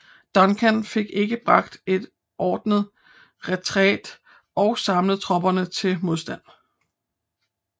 Duncan fik ikke bragt en ordnet retræte og samlet tropperne til modstand